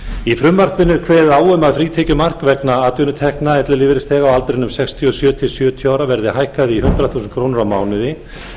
í frumvarpinu er kveðið á um að frítekjumark vegna atvinnutekna ellilífeyrisþega á aldrinum sextíu og sjö til sjötíu ára verði hækkað í hundrað þúsund krónur á mánuði